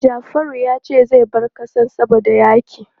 Jafaru ya ce zai bar ƙasar saboda yaƙi.